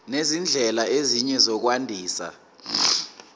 nezindlela ezinye zokwandisa